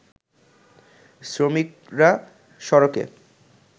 শ্রমিকরা সড়কে